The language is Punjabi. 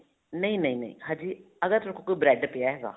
ਨਹੀਂ ਨਹੀਂ ਅਜੇ ਅਗਰ ਤੁਹਾਡੇ ਕੋਲ bread ਪਿਆ ਹੈਗਾ